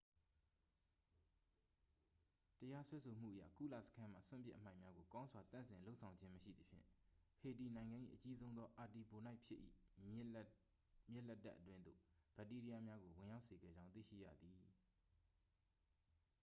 တရားစွဲဆိုမှုအရ ကုလစခန်းမှ စွန့်ပစ်အမှိုက်များကို ကောင်းစွာသန့်စင်လုပ်ဆောင်ခြင်းမရှိသဖြင့် ဟေတီနိုင်ငံ၏ အကြီးဆုံးသော အာတီဘိုနိုက်ဖြစ်၏ မြစ်လက်တက်အတွင်းသို့ ဘက်တီးရီးယားများကို ဝင်ရောက်စေခဲ့ကြောင်း သိရှိရသည်